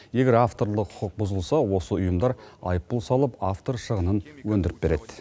егер авторлық құқық бұзылса осы ұйымдар айыппұл салып автор шығынын өндіріп береді